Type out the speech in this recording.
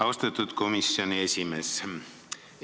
Austatud komisjoni esimees!